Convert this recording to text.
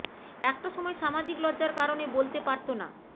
একটা সময় সামাজিক লজ্জার কারণে বলতে পারত না